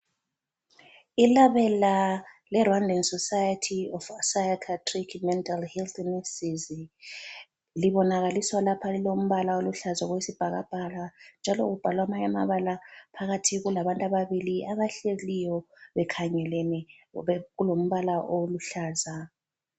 Ilabela le Rwandan Society of Psychiatric Mental Health Nurses, libonakaliswa lapha lilombala oluhlaza okwesibhakabhaka njalo kubhalwa amanye amabala phakathi kulabantu ababili abahleliyo bekhangelene kulombala oluhlaza.